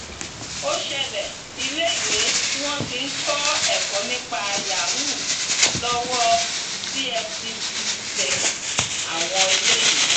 ó ṣẹlẹ iléèwé tí wọn ti ń kọ ẹkọ nípa yahoo lọwọ efcc ti tẹ àwọn eléyìí